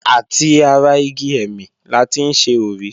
Àti ara igi ẹ̀mì la ti ń ṣe òrí.